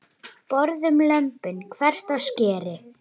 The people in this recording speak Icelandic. Borðum lömbin, hvekkt á skeri.